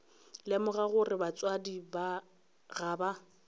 lemoga gore batswadi ga ba